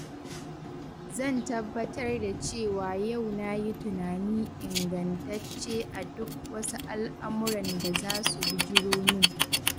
Zan tabbatar da cewa yau na yi tunani ingantacce a duk wasu al'amuran da za su bijiro min.